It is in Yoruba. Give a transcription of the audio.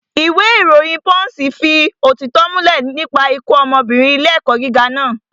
Ìwé ìròyìn pọ́ǹṣì fi ìdí òtítọ́ múlẹ̀ nípa ikú ọmọbìnrin ilé ẹ̀kọ́ gíga naa